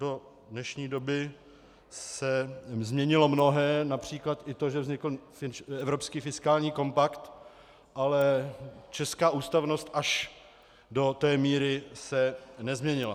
Do dnešní doby se změnilo mnohé, například i to, že vznikl evropský fiskální kompakt, ale česká ústavnost až do té míry se nezměnila.